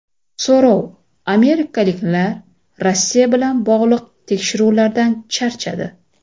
So‘rov: amerikaliklar Rossiya bilan bog‘liq tekshiruvlardan charchadi.